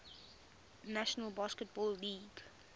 national basketball league